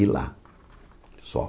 E lá, só.